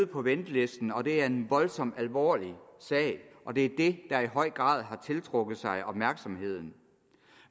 på ventelisten og det er en voldsomt alvorlig sag og det er det der i høj grad har tiltrukket sig opmærksomheden